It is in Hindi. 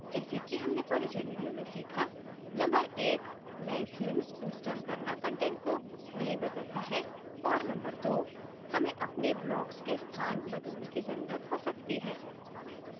जैसे कि हमने परिचय video में सीखानंबर एक: नयें themes इंस्टॉल करना कंटेंट को नहीं बदलता है और नंबर दो: हमें अपने blocks के स्थान बदलने की जरूरत हो सकती है